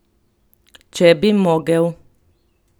Če bi mogel!